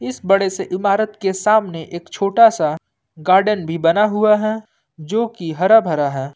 इस बड़े से इमारत के सामने एक छोटा सा गार्डन भी बना हुआ है जो की हरा भरा है।